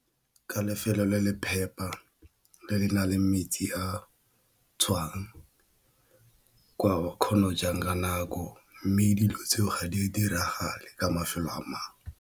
Ka lefelo le le phepa le le nang le metsi a tswang ba kgono jang ka nako mme dilo tseo ga di diragale ka mafelo a mangwe.